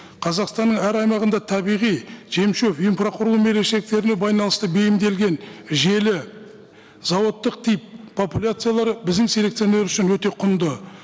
қазақстанның әр аймағында табиғи жем шөп инфрақұрылым ерекшеліктеріне байланысты бейімделген желі зауыттық тип популяциялары біздің селекционер үшін өте құнды